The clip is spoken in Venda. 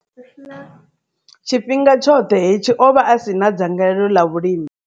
Tshifhinga tshoṱhe hetshi, o vha a si na dzangalelo ḽa vhulimi.